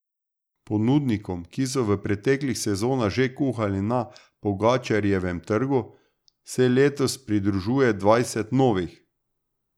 Ponudnikom, ki so v preteklih sezonah že kuhali na Pogačarjevem trgu, se letos pridružuje dvajset novih.